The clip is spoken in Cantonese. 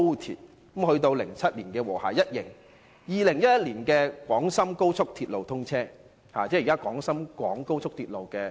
後至2007年，"和諧號1型"面世，而廣深高速鐵路亦於2011年通車。